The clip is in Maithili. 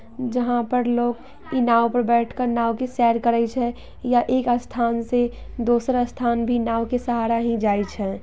जहाँ पर लोग ई नाव पे बैठ कर नाव की सैर करइ छे या एक स्थान से दूसरा स्थान भी नाव के सहारा ही जाई छै।